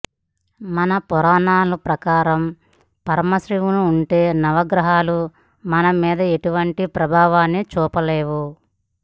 మన పురాణాల ప్రకారం పరం శివుని ఉంటే నవగ్రహాలు మన మీద ఎటువంటి ప్రభావాన్ని చూపలేవు